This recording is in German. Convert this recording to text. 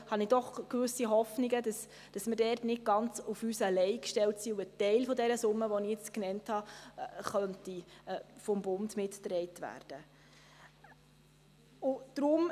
Da habe ich gewisse Hoffnungen, dass wir nicht ganz auf uns alleine gestellt sein werden, so dass ein Teil der Summe, die ich eben genannt habe, vom Bund mitgetragen werden könnte.